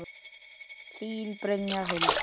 Þín, Brynja Huld.